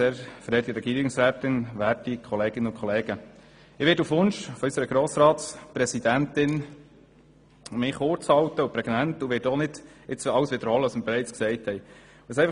Ich halte mich auf Wunsch unserer Grossratspräsidentin kurz und prägnant und werde nicht wiederholen, was bereits gesagt worden ist.